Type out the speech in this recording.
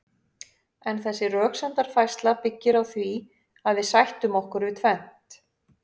en þessi röksemdafærsla byggir á því að við sættum okkur við tvennt